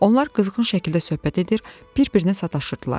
Onlar qızğın şəkildə söhbət edir, bir-birinə sataşırdılar.